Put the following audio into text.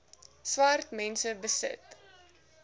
swart mense besit